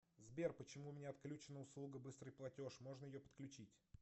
сбер почему у меня отключена услуга быстрый платеж можно ее подключить